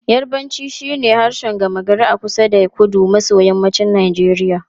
Yarbanci shine harshen gama gari a kusa da kudu maso yammacin Najeriya.